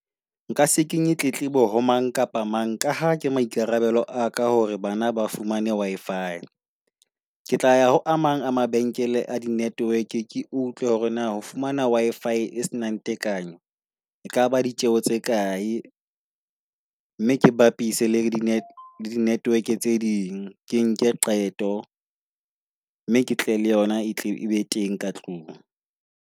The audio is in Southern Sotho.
Nka se kenye tletlebo ho mang kapa mang Ka ha ke maikarabelo a ka hore bana ba fumane Wi-fi. Ke tla ya ho a mang a mabenkele a di-network ke utlwe hore na ho fumana Wi-fi e senang tekanyo e kaba ditjeho tse kae. Mme ke bapise le di-network tse ding. Ke nke qeto mme ke tle le yona e be teng ka tlung.